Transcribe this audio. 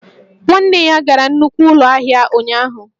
Nwanne ya gara nnukwu ụlọ ahịa ụnyaahụ